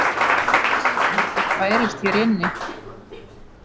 Ekkert bærist hér inni.